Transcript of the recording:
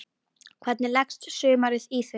Hvernig leggst sumarið í þig?